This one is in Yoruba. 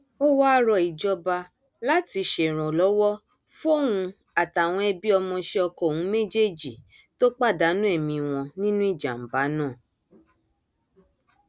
ó wáá rọ ìjọba láti ṣèrànlọwọ fóun àtàwọn ẹbí ọmọọṣẹ ọkọ òun méjèèjì tó pàdánù ẹmí wọn nínú ìjàmbá náà